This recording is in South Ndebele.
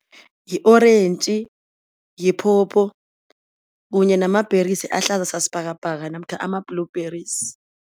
Yi-orentji, yi-phopho kunye nama-berries ahlaza sasibhakabhaka namkha ama-blueberries.